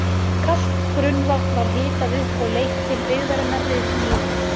Kalt grunnvatn var hitað upp og leitt til byggðarinnar við Mývatn.